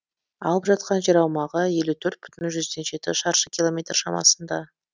алып жатқан жер аумағы елу төрт бүтін жүзден жеті шаршы километр шамасында